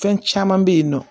Fɛn caman bɛ yen nɔ